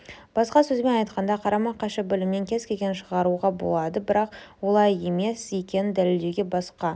басқа сөзбен айтқанда қарама-қайшы білімнен кез-келген шығаруға болады бірақ олай емес екенін дәлелдеуге болады басқа